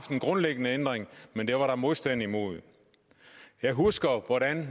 en grundlæggende ændring men det var der modstand imod jeg husker hvordan